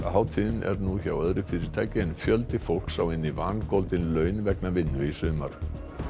hátíðin er nú hjá öðru fyrirtæki en fjöldi fólks á inni vangoldin laun vegna vinnu í sumar